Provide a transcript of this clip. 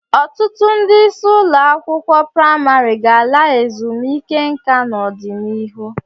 Ọtụtụ ndị isi ụlọ akwụkwọ praịmarị ga-ala ezumike nka n'ọdịnihu.